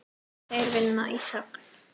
Þeir vinna í þögn.